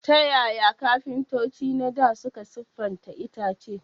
Ta yaya kafintoci na dā suka siffata itace?